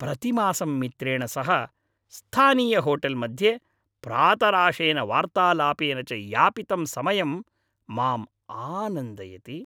प्रतिमासं मित्रेण सह स्थानीयहोटेल् मध्ये प्रातराशेन वार्तालापेन च यापितं समयं माम् आनन्दयति।